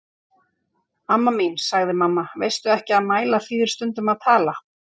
Anna mín, sagði mamma, veistu ekki að mæla þýðir stundum að tala?